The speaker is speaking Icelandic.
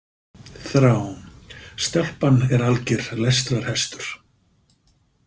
Þrá Stelpan er alger lestrarhestur.